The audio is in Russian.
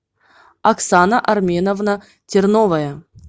оксана арменовна терновая